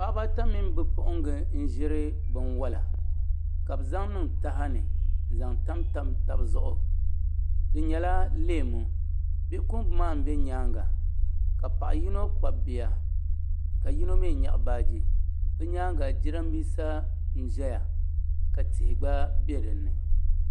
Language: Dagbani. Paɣa baa ata mini bi puɣinga n ʒiri bi wala ka bɛ zaŋniiŋ tahani n zan tamtam tabi zuɣu di nyɛla leemu bi puɣingi maa n bɛ nyaanŋa ka Paɣi yinɔ kpabi bia ka yino mi naɣi baagi di nyaaŋa jidanbisa n ʒɛya ka tihi gba bɛ dini